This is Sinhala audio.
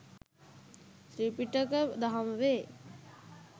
ත්‍රිපිටක දහම වේ.